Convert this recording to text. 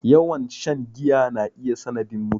Yawan shan giya na iya sanadin mutuwa